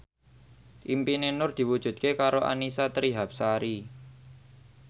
impine Nur diwujudke karo Annisa Trihapsari